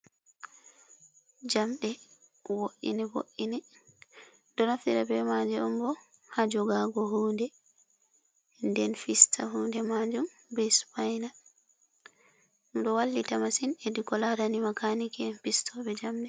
Jamde woi, ne wo, ine. Ɗumɗo naftira be maje on bo ha jogago hunde nden fista hunde majum be supana. Ɗum ɗon wallita masin her ko laarani makanikien fistoɓe jamɗe.